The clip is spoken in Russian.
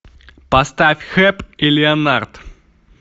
поставь хэп и леонард